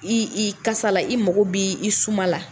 I i kasa la, i mago b' i suma la!